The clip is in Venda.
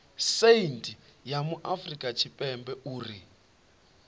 saintsi ya afurika tshipembe uri